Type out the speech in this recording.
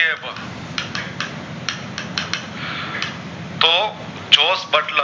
તો જોશ